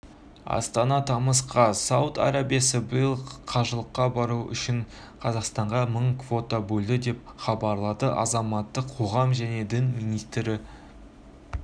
астана тамыз қаз сауд арабиясы биыл қажылыққа бару үшін қазақстанға мың квота бөлді деп хабарлады азаматтық қоғам және дін істері министрінурлан